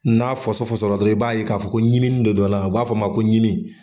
N'a fɔsɔfɔsɔla dɔrɔn i b'a k'a fɔ ko ɲiminin de don a la u b'a f'o ma ko ɲimi.